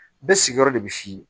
Bɛɛ sigiyɔrɔ de bɛ s'i ye